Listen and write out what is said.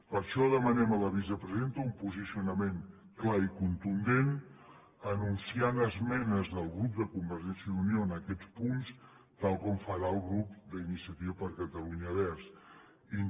per això demanem a la vicepresidenta un posicionament clar i contundent anunciant esmenes del grup de convergència i unió en aquests punts tal com farà el grup d’iniciativa per catalunya verds